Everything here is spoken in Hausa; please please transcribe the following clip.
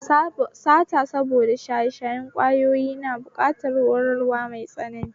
Sata saboda shaye shayen ƙwayoyi na buƙatar horarwa mai tsanani